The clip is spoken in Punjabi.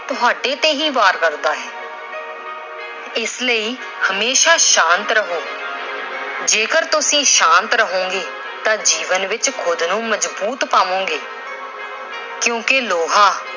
ਤੁਹਾਡੇ ਤੇ ਹੀ ਵਾਰ ਕਰਦਾ ਏ। ਇਸ ਲਈ ਹਮੇਸ਼ਾ ਸ਼ਾਂਤ ਰਹੋ। ਜੇਕਰ ਤੁਸੀਂ ਸ਼ਾਂਤ ਰਹੋਗੇ ਤਾਂ ਜੀਵਨ ਵਿੱਚ ਖੁਦ ਨੂੰ ਮਜ਼ਬੂਤ ਪਾਵੋਗੇ ਕਿਉਂਕਿ ਲੋਹਾ